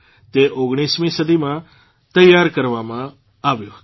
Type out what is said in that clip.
તે ૧૯મી સદીમાં તૈયાર કરવામાં આવ્યો હતો